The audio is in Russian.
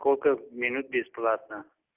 сколько минут бесплатно